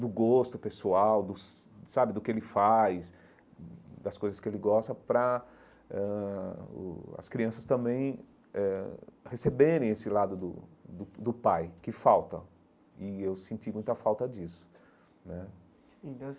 do gosto pessoal, dos sabe do que ele faz, das coisas que ele gosta, para ãh uh as crianças também eh receberem esse lado do do do pai, que falta, e eu senti muita falta disso né.